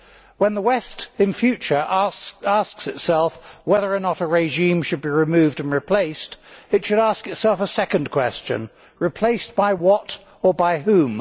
When the West in future asks itself whether or not a regime should be removed and replaced, it should ask itself a second question replaced by what or by whom?